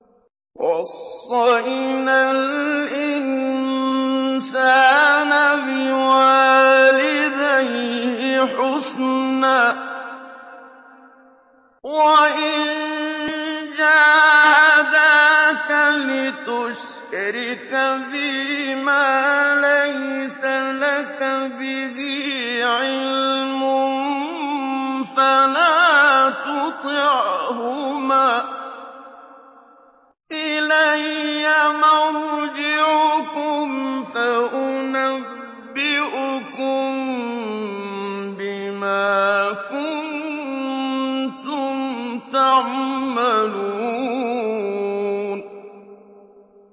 وَوَصَّيْنَا الْإِنسَانَ بِوَالِدَيْهِ حُسْنًا ۖ وَإِن جَاهَدَاكَ لِتُشْرِكَ بِي مَا لَيْسَ لَكَ بِهِ عِلْمٌ فَلَا تُطِعْهُمَا ۚ إِلَيَّ مَرْجِعُكُمْ فَأُنَبِّئُكُم بِمَا كُنتُمْ تَعْمَلُونَ